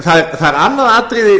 það er annað atriði